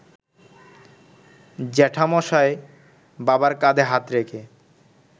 জ্যাঠামশায় বাবার কাঁধে হাত রেখে